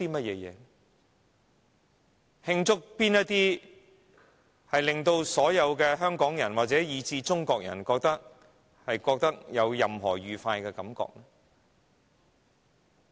有哪些事情是令所有香港人，以至中國人有任何愉快感覺的呢？